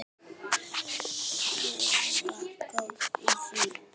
Ég var góð í því.